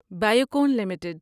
Biocon limited